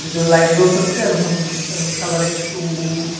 ভিতরে লাইট জ্বলতেসে আর মন্দিরটার কালার একটু--